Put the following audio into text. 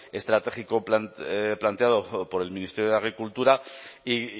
estratégico planteado por el ministerio de agricultura y